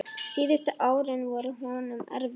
Síðustu árin voru honum erfið.